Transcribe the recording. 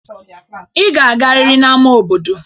Ị ga-agarịrị n'ama obodo.